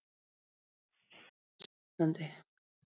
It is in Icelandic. Augu umheimsins á Íslandi